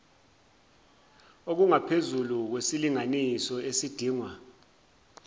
okungaphezulu kwesilinganiso esidingwa